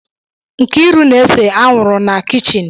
Nkiru na-ese anwụrụ na kichin